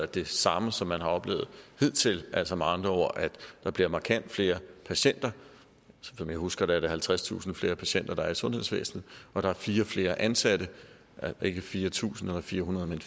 det samme som man har oplevet hidtil altså med andre ord at der bliver markant flere patienter som jeg husker det er der halvtredstusind flere patienter i sundhedsvæsenet og der er fire flere ansatte ikke fire tusind eller fire hundrede men